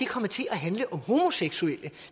kommet til at handle om homoseksuelle